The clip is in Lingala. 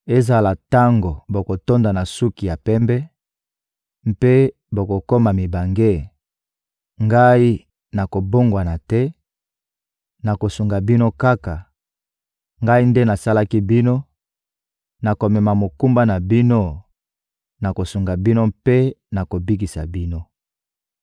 Ezala tango bokotonda na suki ya pembe mpe bokokoma mibange, Ngai nakobongwana te, nakosunga bino kaka; Ngai nde nasalaki bino, nakomema mokumba na bino, nakosunga bino mpe nakobikisa bino.